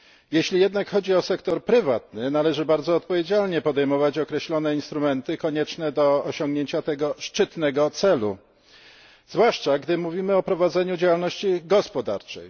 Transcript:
Jeśli jednak chodzi o sektor prywatny, należy bardzo odpowiedzialnie podejmować określone instrumenty konieczne do osiągnięcia tego szczytnego celu, zwłaszcza gdy mówimy o prowadzeniu działalności gospodarczej.